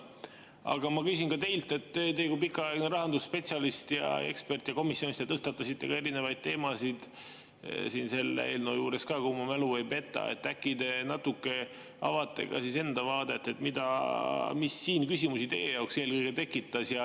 Aga ma küsin teilt kui pikaajaliselt rahandusspetsialistilt ja eksperdilt, komisjonis te tõstatasite erinevaid teemasid selle eelnõu juures ka, kui mu mälu ei peta, äkki te natuke avate enda vaadet, et mis siin eelkõige teie jaoks küsimusi tekitas.